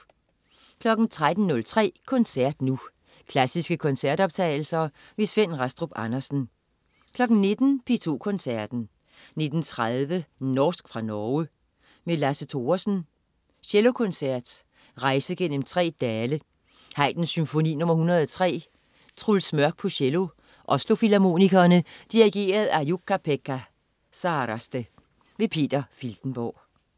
13.03 Koncert Nu. Klassiske koncertoptagelser. Svend Rastrup Andersen 19.00 P2 Koncerten. 19.30 Norsk fra Norge. Lasse Thoresen: Cellokoncert. Rejse gennem tre dale. Haydn: Symfoni nr. 103. Truls Mørk, cello. Oslo Filharmonikerne. Dirigent: Jukka-Pekka Saraste. Peter Filtenborg